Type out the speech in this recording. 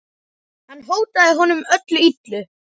Hann hótaði honum öllu illu.